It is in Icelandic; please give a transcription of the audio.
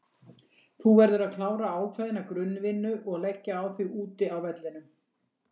Þú verður að klára ákveðna grunn vinnu og leggja á þig úti á vellinum.